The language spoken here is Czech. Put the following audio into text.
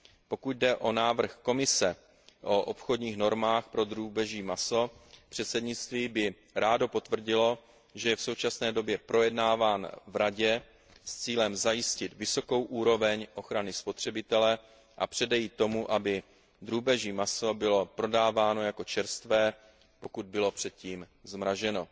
Pokud jde o návrh Komise o obchodních normách pro drůbeží maso, předsednictví by rádo potvrdilo, že je v současné době projednáván v Radě s cílem zajistit vysokou úroveň ochrany spotřebitele a předejít tomu, aby drůbeží maso bylo prodáváno jako čerstvé, pokud bylo předtím zmraženo.